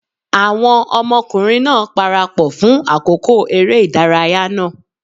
Àwọn ọmọkùnrin náà parapọ̀ fún àkókò eré ìdárayá náà.